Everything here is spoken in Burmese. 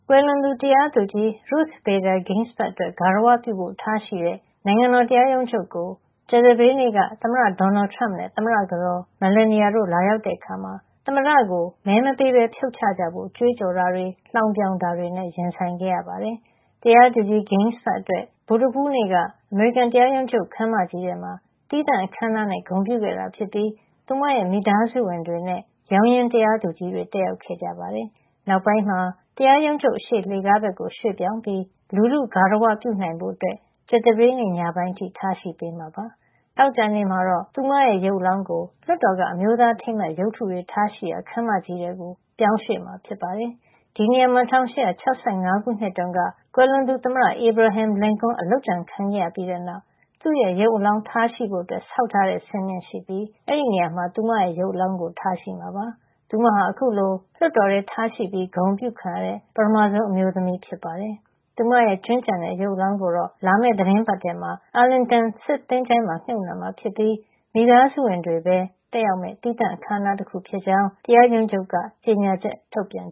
ွယ်လွန်သူ တရားသူကြီး Ruth Bader Ginsburg အတွက် ဂါရဝပြုဖို့ ထားရှိတဲ့ နိုင်ငံတော် တရားရုံချုပ်ကို ကြာသပတေးနေ့က သမ္မတဒေါ်နယ်ထရမ့်နဲ့ သမ္မတကတော် Melania တို့ လာရောက်တဲ့အခါမှာ သမ္မတကို မဲမပေးပဲဖြုတ်ချကြဖို့ ကြွေးကြော်တာတွေ လှောင်ပြောင်တာတွေနဲ့ ရင်ဆိုင်ခဲ့ရပါတယ်။ တရားသူကြီး Ginsburg အတွက် ဗုဒ္ဓဟူးနေ့က အမေရိကန်တရားရုံးချုပ် ခန်းမကြီးထဲမှာ သီးသန့် အခမ်းအနားနဲ့ ဂုဏ်ပြုခဲ့တာ ဖြစ်ပြီး သူမရဲ့ မိသားစုဝင်တွေနဲ့ ရောင်းရင်း တရားသူကြီးတွေ တက်ရောက်ခဲ့ကြပါတယ်။ နောက်ပိုင်းမှာ တရားရုံးချုပ်အရှေ့ လှေကားဘက်ကို ရွှေ့ပြောင်းပြီး လူထုဂါရဝပြုနိုင်ဖို့ ကြာသပတေးညပိုင်းအထိ ထားရှိပေးမှာ စြဖ်ပါတယ်။ သောကြာနေ့မှာတော့ သူမရဲ့ ရုပ်အလောင်းကို လွှတ်တော်က အမျိုးသားအထိမ်းအမှတ် ရုပ်ထုတွေ ထားရှိရာ ခန်းမကြီး ထဲ ပြောင်းရွှေ့မှာ ဖြစ်ပါတယ်။ ဒီနေရာမှာ ၁၈၆၅ ခုနှစ်တုန်းက ကွယ်လွန်သူ သမ္မတ Abraham Lincoln အလုပ်ကြံခံခဲ့ရပြီးတဲ့ နောက် သူ့ရုပ်အလောင်းထားရှိဖို့ ဆောက်ထားတဲ့ စင်မြင့်ရှိပြီး အဲဒီ နေရာမှာ သူမရဲ့ရုပ်အလောင်းကို ထားရှိမှာ ဖြစ်ပါတယ်။ သူမဟာ အခုလိုလွှတ်တော်ထဲ ထားရှိပြီး ဂုဏ်အပြု ခံရတဲ့ ပထမဆုံး အမျိုးသမီးဖြစ်ပါတယ်။ သူမရဲ့ ကြွင်းကျန်တဲ့ ရုပ်အလောင်းကိုတော့ လာမယ့် သီတင်းပတ်ထဲမှာ အာလင်တန်စစ်သချိုင်းမှာ မြှုပ်နှံမှာ ဖြစ်ပြီး မိသားစုဝင်တွေပဲ တက်ရောက်မယ့် သီးသန့်အခမ်းအနားတခု ဖြစ်ကြောင်း တရားရုံးချုပ်က ကြေညာချက် ထုတ်ပြန်